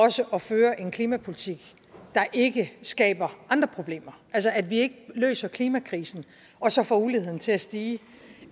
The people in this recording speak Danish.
også at føre en klimapolitik der ikke skaber andre problemer altså at vi ikke løser klimakrisen og så får uligheden til at stige